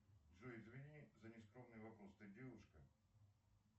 джой извини за нескромный вопрос ты девушка